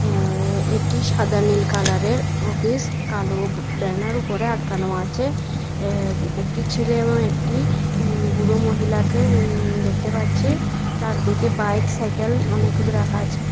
আ এটি সাদা নীল কালারের অফিস কালো ব্যানার উপরে আটকানো আছে এ একটি ছেলে এবং একটি উম বুড়ো মহিলাকে উম দেখতে পাচ্ছি চারদিকে বাইক সাইকেল অনেকগুলো রাখা আছে।